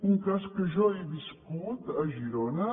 un cas que jo he viscut a girona